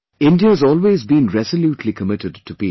India has always been resolutely committed to peace